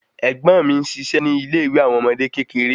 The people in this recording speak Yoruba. Ègbón mi n ṣiṣẹ ni ile ìwé àwọn ọmọdé kékeré